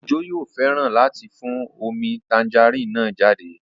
Ojo yóò fẹ́ràn láti fún omi tangerine náà jáde